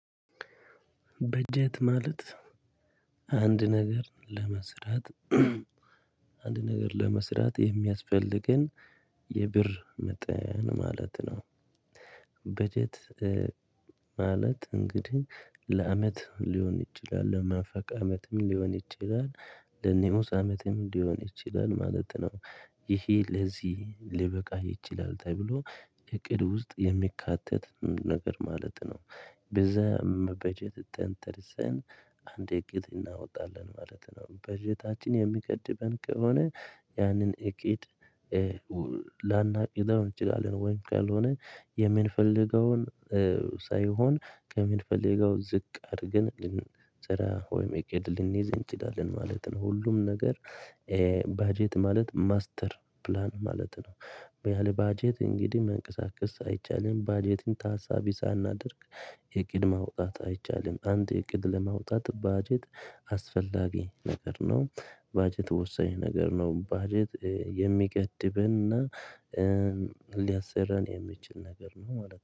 በጀት ማለት አንድ ነገር ለመስራት አንድ ነገር ለመስራት የሚያስፈልገን የብር መጠን ማለት ነው። በጀት ማለት እንግዲህ ለአመት ሊሆን ይችላል ለመንፈቅ አመትም ሊሆን ይችላል ለንኡስ አመትም ሊሆን ይችላል ማለት ነው። ይሄ ለዚህ ሊበቃ ይችላል ተብሎ እቅድ ውስጥ የሚካተት ነገር ማለት ነው። በዛም በጀት ተንተርሰን አንድ እቅድ እናወጣለን ማለት ነው። በጀታችን የሚገድበን ከሆነ ያንን እቅድ ላናቅደው እንችላለን ወይም ካልሆነ የምንፈልገውን ሳይሆን ከምንፈልገው ዝቅ አድርገን ልንሰራ ወይም እቅድ ልንይዝ እንችላለን ማለት ነው። ሁሉም ነገር በጀት ማለት ማስተር ፕላን ማለት ነው። ያለ በጀት እንግዲህ መንቀሳቀስ አይቻልም በጀትን ታሳቢ ሳናደርግ እቅድ ማውጣት አይቻልም። አንድ እቅድ ለማውጣት በጀት አስፈላጊ ነገር ነው። በጀት ወሳኝ ነገር ነው። በጀት የሚገድበንና ሊያሰራን የሚችል ነገር ነው ማለት ነው።